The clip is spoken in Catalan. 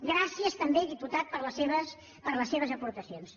gràcies també diputat per les seves aportacions